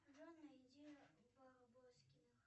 джой найди барбоскиных